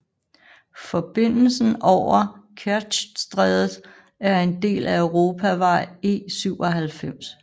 Forbindelsen over Kertjstrædet er en del af Europavej E97